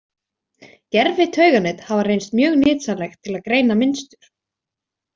Gervitauganet hafa reynst mjög nytsamleg til að greina mynstur.